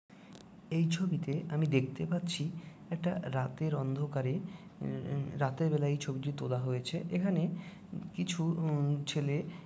এই ছবিতে আমি দেখতে পাচ্ছি একটা রাতের অন্ধকারে উম উম রাতের বেলায় ছবিটি তোলা হয়েছে। এখানে উ কিছু উম ছেলে--